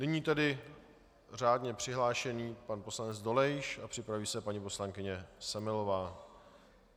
Nyní tedy řádně přihlášený pan poslanec Dolejš a připraví se paní poslankyně Semelová.